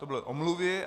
To byly omluvy.